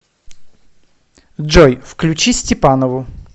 джой включи степанову